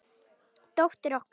Dóttir okkar?